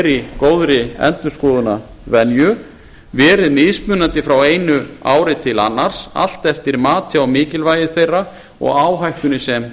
er í góðri endurskoðunarvenju verið mismunandi frá einu ári til annars allt eftir mati á mikilvægi þeirra og áhættunni sem